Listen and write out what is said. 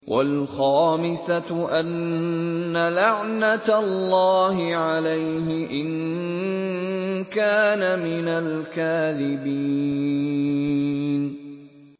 وَالْخَامِسَةُ أَنَّ لَعْنَتَ اللَّهِ عَلَيْهِ إِن كَانَ مِنَ الْكَاذِبِينَ